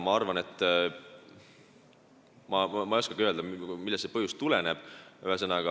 Ma ei oskagi öelda, millest see põhjus tuleneb.